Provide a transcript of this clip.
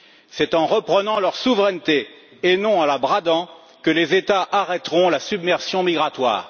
C'est en reprenant leur souveraineté, et non en la bradant, que les États arrêteront la submersion migratoire.